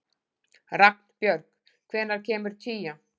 Ragnbjörg, hvenær kemur tían?